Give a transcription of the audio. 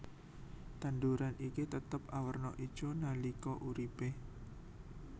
Tanduran iki tetep awerna ijo nalika uripe